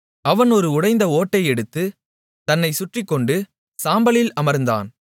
அவன் ஒரு உடைந்த ஓட்டை எடுத்து தன்னைச் சுறண்டிக்கொண்டு சாம்பலில் அமர்ந்தான்